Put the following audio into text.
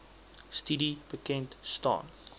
studie bekend staan